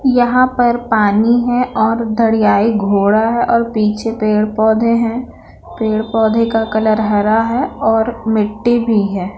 यहाँ पर पानी है और धड़ियाई एक घोड़ा है और पीछे पेड़-पौधे हैं पेड़-पौधे का कलर हरा है और मिट्टी भी है।